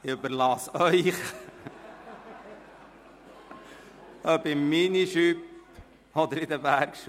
Das überlasse ich Ihnen, egal ob im Minijupe oder in Bergschuhen.